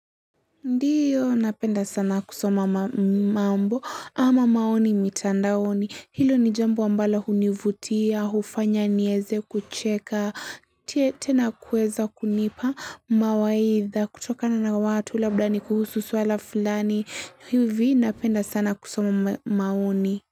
Ndiyo, napenda sana kusoma mambo ama maoni mitandaoni. Hilo ni jambo ambalo hunivutia, hufanya nieze kucheka, tena kuweza kunipa mawaidha kutokana na watu, labda ni kuhusu swala fulani hivi napenda sana kusoma maoni.